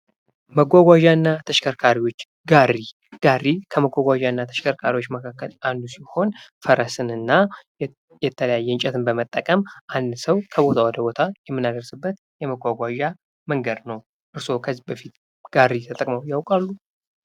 መጓጓዣ እና ተሽከርካሪዎች ጋሪ ጋሪ ከመጓጓዣ እና ተሽከርካሪዎች መካከል አንዱ ሲሆን ፤ ፈረስና የተለያየ እንጨትን መጠቀም አንድ ሰው ከቦታ ወደ ቦታ የምናደርስበት የመጓጓዣ መንገድ ነው። እርሶ ከዚህ በፊት ጋሪ ተጠቅመው ያውቃሉ?